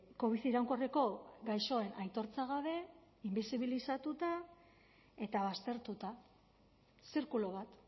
covid iraunkorreko gaixoen aitortza gabe inbisibilizatuta eta baztertuta zirkulu bat